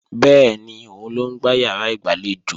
Bẹ́ẹ̀ni, òun ló ń gbá ìyàrá ìgbàlejò